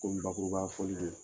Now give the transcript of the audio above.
Komi bakurubafɔli don